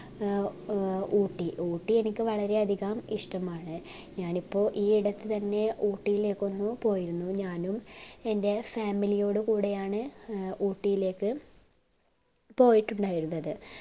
ഏർ ഊട്ടി ഊട്ടി എനിക്ക് വളരെ അധികം ഇഷ്ടമാണ് ഞാനിപ്പോ ഈ ഇടക്ക് തന്നെ ഊട്ടിലേക്ക് ഒന്ന് പോയിരുന്നു ഞാനും എൻ്റെ family ഓടു കൂടെയാണ് ഊട്ടീലേക്ക് പോയിട്ടുണ്ടായിരുന്നത്